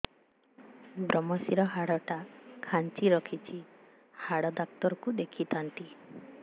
ଵ୍ରମଶିର ହାଡ଼ ଟା ଖାନ୍ଚି ରଖିଛି ହାଡ଼ ଡାକ୍ତର କୁ ଦେଖିଥାନ୍ତି